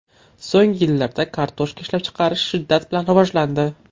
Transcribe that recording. So‘nggi yillarda kartoshka ishlab chiqarish shiddat bilan rivojlandi.